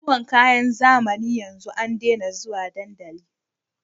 Zuwan kayan zamani yanzu an dena zuwa dandali